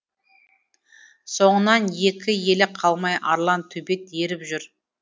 соңынан екі елі қалмай арлан төбет еріп жүр